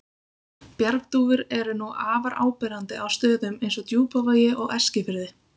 Bjargdúfur eru nú afar áberandi á stöðum eins og Djúpavogi og Eskifirði.